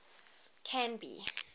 canby